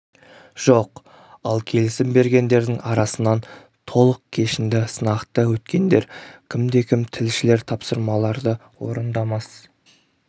жоқ ал келісім бергендердің арасынан толық кешінді сынақты өткендер кім де кім тілшілер тапсырмаларды орындамас